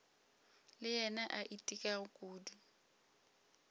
le yena a itekago kudu